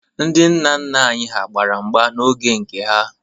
Ndị nna nna anyị hà gbara mgba n'oge nke ha.